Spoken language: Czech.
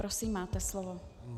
Prosím, máte slovo.